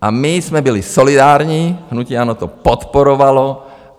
A my jsme byli solidární, hnutí ANO to podporovalo.